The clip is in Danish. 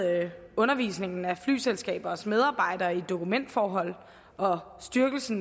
undervisningen af flyselskabers medarbejdere i dokumentforhold og styrkelse